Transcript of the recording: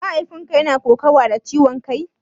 Mahaifin ka yana yawan kokawa da ciwon kai?